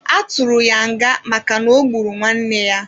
A tụrụ ya nga maka n'ogburu nwanne ya.